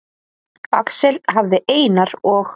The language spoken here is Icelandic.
Axel hafði Einar og